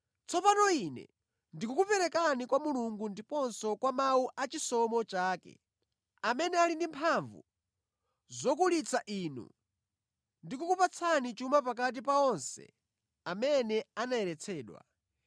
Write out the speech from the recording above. “Tsopano ine ndikukuperekani kwa Mulungu ndiponso kwa mawu a chisomo chake, amene ali ndi mphamvu zokulitsa inu ndi kukupatsani chuma pakati pa onse amene anayeretsedwa.